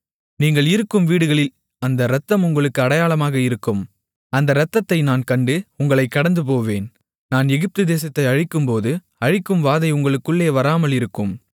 நீங்கள் இருக்கும் வீடுகளில் அந்த இரத்தம் உங்களுக்காக அடையாளமாக இருக்கும் அந்த இரத்தத்தை நான் கண்டு உங்களைக் கடந்துபோவேன் நான் எகிப்து தேசத்தை அழிக்கும்போது அழிக்கும் வாதை உங்களுக்குள்ளே வராமல் இருக்கும்